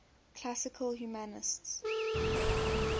classical humanists